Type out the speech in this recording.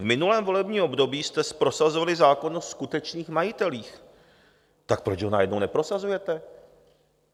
V minulém volebním období jste prosazovali zákon o skutečných majitelích, tak proč ho najednou neprosazujete?